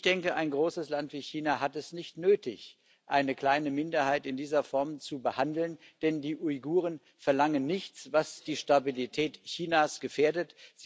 Ich denke, ein großes Land wie China hat es nicht nötig, eine kleine Minderheit in dieser Form zu behandeln, denn die Uiguren verlangen nichts, was die Stabilität Chinas gefährdet.